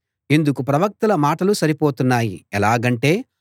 ఇందుకు ప్రవక్తల మాటలు సరిపోతున్నాయి ఎలాగంటే